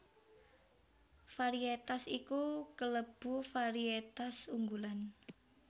Variétas iku kalebu variétas unggulan